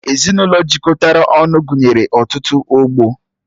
Ezinụlọ jikọrọ ọnụ gụnyere ọtụtụ ọgbọ